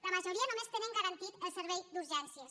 la majoria només tenen garantit el servei d’urgències